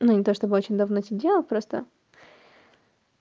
ну не то чтобы очень давно сидела просто